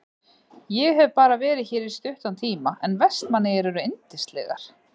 Ég hef bara verið hér í stuttan tíma en Vestmannaeyjar eru yndislegar.